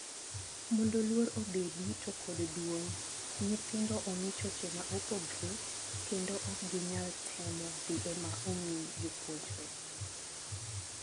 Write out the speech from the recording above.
Mondo luor obedi to kod duong. Nythindo omi choche ma opogre kendo ok gi nyal temo dhi ema omi jopunjre.